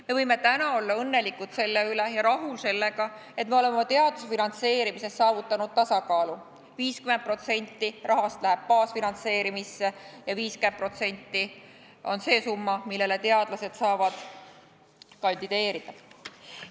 Me võime täna olla õnnelikud ja rahul sellega, et me oleme oma teaduse finantseerimises saavutanud tasakaalu: 50% rahast läheb baasfinantseerimisse ja 50% on see summa, millele teadlased saavad kandideerida.